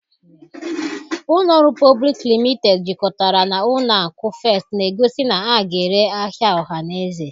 Ụlọ ọrụ Public Limited jikọtara na ụlọ akụ First na-egosi na a ga-ere ahịa ọhaneze